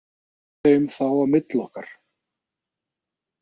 Við skiptum þeim þá á milli okkar.